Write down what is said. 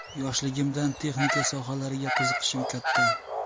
Yoshligimdan texnika sohalariga qiziqishim katta.